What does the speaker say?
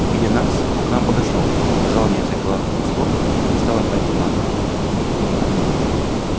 увидя нас он к нам подошёл сказал мне несколько ласковых слов и стал опять командовать